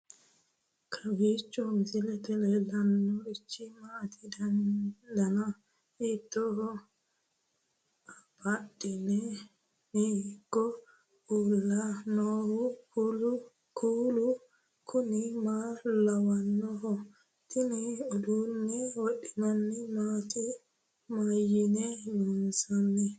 kowiicho misilete leellanorichi maati ? dana hiittooho ?abadhhenni ikko uulla noohu kuulu kuni maa lawannoho? tini uduunne wodhinanniti maati mayinni loonsoonni